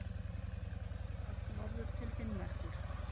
Hún finnst allt norður til Finnmerkur.